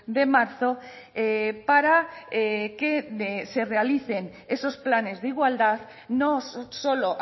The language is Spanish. de marzo para que se realicen esos planes de igualdad no solo